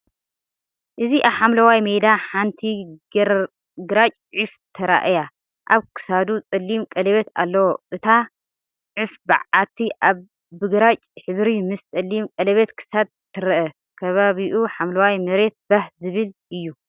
እዚ ኣብ ሓምላይ ሜዳ ሓንቲ ግራጭ ዑፍ ተራእያ፤ ኣብ ክሳዱ ጸሊም ቀለቤት ኣለዎ። እታ ዑፍ በዓቲ ብግራጭ ሕብሪ ምስ ጸሊም ቀለቤት ክሳድ ትርአ፤ ከባቢኡ ሓምላይ መሬት ባህ ዝብል እዩ።